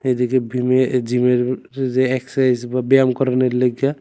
এদিকে বিমে-জিমের যে এক্সারসাইজ বা ব্যায়াম করনের লাইগ্যা--